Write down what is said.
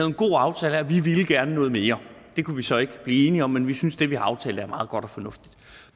en god aftale her vi ville gerne noget mere det kunne vi så ikke blive enige om men vi synes det vi har aftalt er meget godt og fornuftigt